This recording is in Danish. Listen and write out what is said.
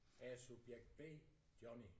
Jeg er subjekt B Johnny